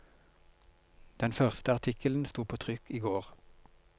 Den første artikkelen sto på trykk i går.